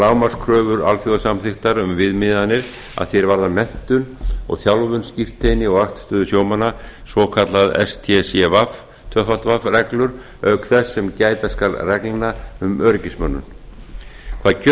lágmarkskröfur alþjóðasamþykktar um viðmiðanir að því hvað varðar menntun og þjálfun og skírteini og vaktstöður sjómanna svokallað stcw reglur auk þess sem gæta skal reglna um öryggismönnun hvað kjör